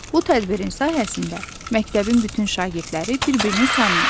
Bu tədbirin sayəsində məktəbin bütün şagirdləri bir-birini tanıyır.